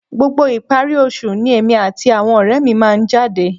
Gbogbo ìparí oṣù ni èmi àti àwọn ọ̀rẹ́ mi máa ń jáde